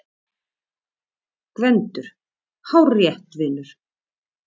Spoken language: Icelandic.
GVENDUR: Hárrétt, vinur!